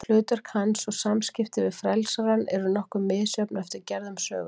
Hlutverk hans og samskipti við frelsarann eru nokkuð misjöfn eftir gerðum sögunnar.